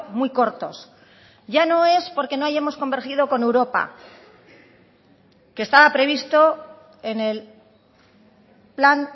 muy cortos ya no es porque no hayamos convergido con europa que estaba previsto en el plan